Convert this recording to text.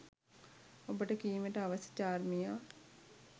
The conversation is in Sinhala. ඔබට කීමට අවැසි චාර්මියා